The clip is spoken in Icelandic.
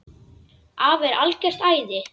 Afi er algert æði.